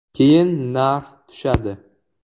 Keyin narx tushadi.